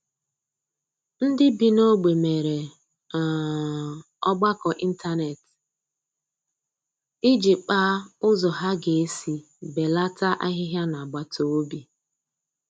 Ndị bi n'ogbe mere um ọgbakọ ịntanet iji kpaa ụzọ ha ga-esi belata ahịhịa n'agbataobi